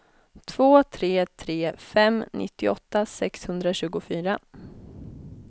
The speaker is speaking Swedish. två tre tre fem nittioåtta sexhundratjugofyra